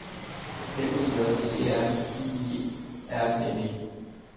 M E J E R I E R N E